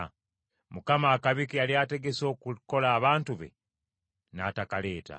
Mukama akabi ke yali ategese okukola abantu be n’atakaleeta.